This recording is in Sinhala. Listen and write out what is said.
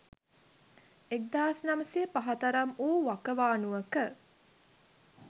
1905 තරම් වූ වකවානුවක